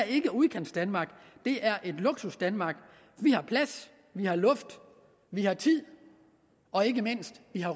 ikke udkantsdanmark det er luksusdanmark vi har plads vi har luft vi har tid og ikke mindst har